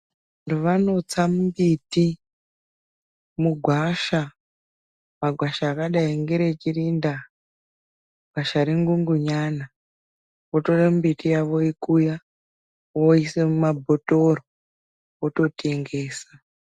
Vantu vanotsa mbiti mugwasha. Magwasha akadai ngere Chirinda, gwasha reNgungunyana. Votora mbiti yakhona voikuya, voiise mumabhodhleya, vototengesa.